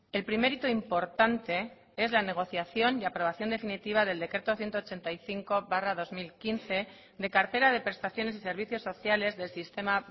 el primer hito importante es la negociación y aprobación definitiva del decreto ciento ochenta y cinco barra dos mil quince de cartera de prestaciones y servicios sociales del sistema